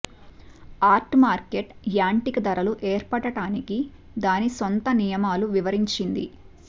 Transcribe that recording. art market యాంటిక ధరలు ఏర్పడటానికి దాని సొంత నియమాలు వివరించింది